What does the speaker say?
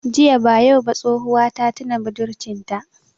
Ziya ba yau ba tsohuwa ta tina budurcin ta